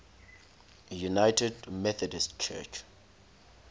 united methodist church